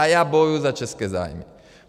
A já bojuju za české zájmy.